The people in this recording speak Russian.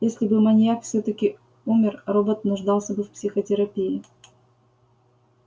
если бы маньяк всё-таки умер робот нуждался бы в психотерапии